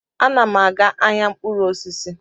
Ana m aga ahịa mkpụrụ osisi